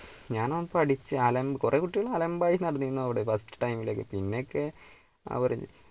ഞാനാ പഠിച്ച് അലമ്പ് കുറെ കുട്ടികൾ അലമ്പായി നടന്നിരുന്നു അവിടെ first time ലൊക്കെ പിന്നെയൊക്കെ അവർ,